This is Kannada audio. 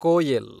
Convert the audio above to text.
ಕೋಯೆಲ್